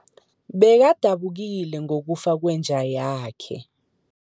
Bekadabukile ngokufa kwenja yakhe.